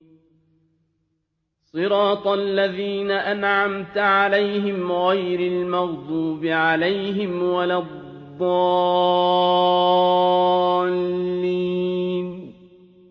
صِرَاطَ الَّذِينَ أَنْعَمْتَ عَلَيْهِمْ غَيْرِ الْمَغْضُوبِ عَلَيْهِمْ وَلَا الضَّالِّينَ